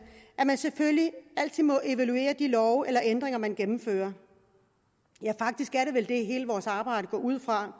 at man selvfølgelig altid må evaluere de love eller ændringer man gennemfører ja faktisk er det vel det hele vores arbejde går ud